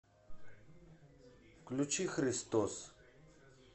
включи христос